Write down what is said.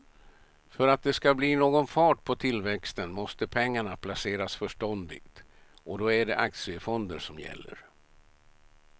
För att det ska bli någon fart på tillväxten måste pengarna placeras förståndigt och då är det aktiefonder som gäller.